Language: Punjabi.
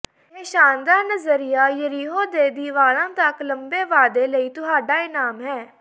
ਇਹ ਸ਼ਾਨਦਾਰ ਨਜ਼ਰੀਆ ਯਰੀਹੋ ਦੇ ਦਿ ਵਾਲਾਂ ਤਕ ਲੰਬੇ ਵਾਧੇ ਲਈ ਤੁਹਾਡਾ ਇਨਾਮ ਹੈ